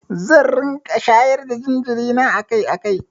Zan riƙa shayar da jinjiri na akai-akai.